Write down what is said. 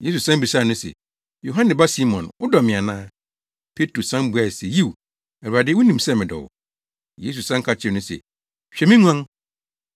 Yesu san bisaa no se, “Yohane ba Simon, wodɔ me ana?” Petro san buae se, “Yiw, Awurade, wunim sɛ medɔ wo.” Yesu san ka kyerɛɛ no se, “Hwɛ me nguan.”